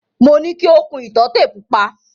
Mo ní ki o kun ìtọ́tè pupa.